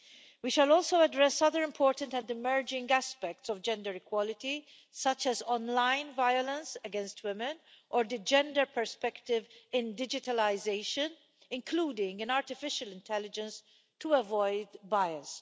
We shall also address other important and emerging aspects of gender equality, such as online violence against women or the gender perspective in digitalisation, including an artificial intelligence to avoid bias.